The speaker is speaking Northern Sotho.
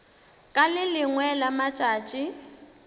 ka le lengwe la matšatši